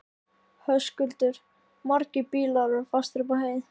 Höskuldur: Margir bílar fastir upp á heiði?